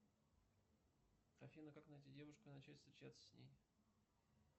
афина как найти девушку и начать встречаться с ней